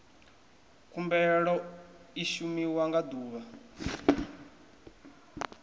khumbelo i shumiwa nga ḓuvha